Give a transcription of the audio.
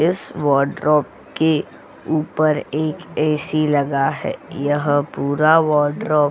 इस वार्डरोब के ऊपर एक ए.सी लगा है यह पूरा वोर्डरोब --